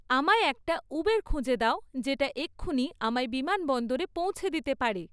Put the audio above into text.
আমায় একটা উবের খুঁজে দাও যেটা এক্ষুনি আমায় বিমানবন্দরে পৌছে দিতে পারে